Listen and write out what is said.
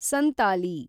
Santali